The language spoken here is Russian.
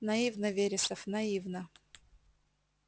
наивно вересов наивно